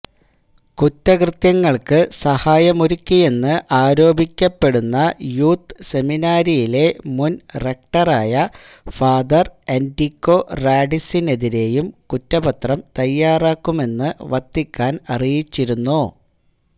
കുറ്റകൃത്യങ്ങൾക്ക് സഹായമൊരുക്കിയെന്ന് ആരോപിക്കപ്പെടുന്ന യൂത്ത് സെമിനാരിയിലെ മുൻ റെക്ടറായ ഫാദർ എൻറിക്കോ റാഡിസിനെതിരെയും കുറ്റപത്രം തയ്യാറാക്കുമെന്ന് വത്തിക്കാന് അറിയിച്ചിരുന്നു